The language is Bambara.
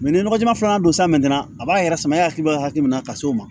ni nɔgɔjɛman fana don san mɛna a b'a yɛrɛ sama e hakili bɛ hakili min na ka s'o ma